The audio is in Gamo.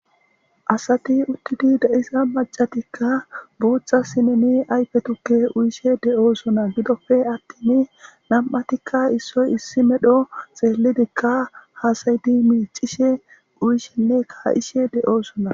asati uttidi da7isa macatikka booththa sineni aype tukke uyishe de7oosona gidofe attin nam7atikka issoy issi medho xeellidikka haasayidi miicishe uyishenne kaa7ishe de7osona